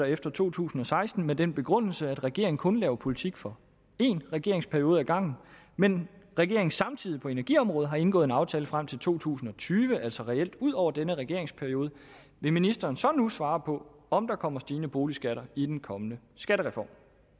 efter to tusind og seksten med den begrundelse at regeringen kun laver politik for én regeringsperiode ad gangen men regeringen samtidig på energiområdet har indgået en aftale frem til to tusind og tyve altså reelt ud over denne regeringsperiode vil ministeren så nu svare på om der kommer stigende boligskatter i den kommende skattereform